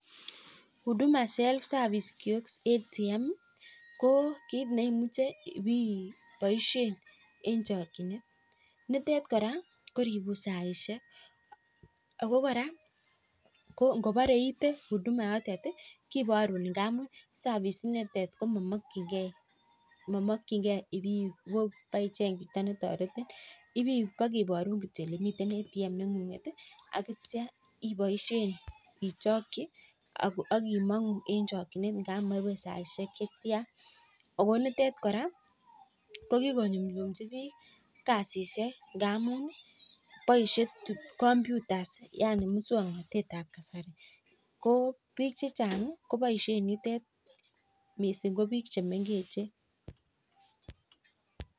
Huduma self service kios ATM ko kit neimuche ibaishen en chakinet nitet kora koribun saishek ako koraa ngobare iite huduma yotet kebarun ngamun service nitet komakin gei iwe baicheng Chito netoretin iwekebarun kityo olemiten ATM nenguget akitya ibaishen ichoki akimangu en chakinet amun maibe saishek chetiana akonitet koraa kokikoyumchumi bik kasishek ngamun baishen computers ab muswaknatet Nebo kasari kobik chechang kobaishen yutet mising ko bik chemengechen